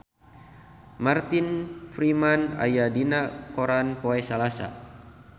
Martin Freeman aya dina koran poe Salasa